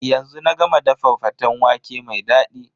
Yanzu na ga ma dafa faten waƙe mai dadi.